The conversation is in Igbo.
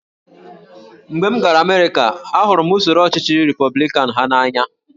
Mgbe m gara Amerịka, ahụrụ m usoro ọchịchị Repọblikan ha n’anya